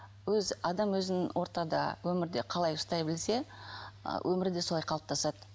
адам өзінің ортада өмірде қалай ұстай білсе өмірі де солай қалыптасады